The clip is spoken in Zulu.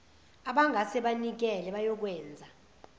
abangase banikele bayokwenza